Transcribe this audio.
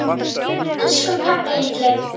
Elsku pabbi litli.